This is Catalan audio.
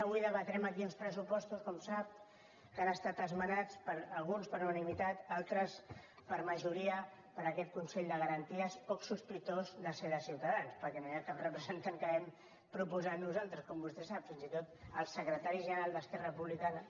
avui debatrem aquí uns pressupostos com sap que han estat esmenats alguns per unanimitat altres per majoria per aquest consell de garanties poc sospitós de ser de ciutadans perquè no hi ha cap representant que hàgim proposat nosaltres com vostè sap fins i tot el secretari general d’esquerra republicana